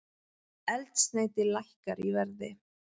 Eldsneyti lækkar í verði